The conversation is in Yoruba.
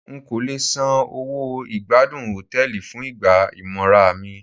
N kò le san owó ìgbádùn Hòtẹ́lìì fún ìgbà ìmora mi.